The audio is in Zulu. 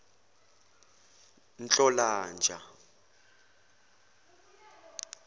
nhlolanja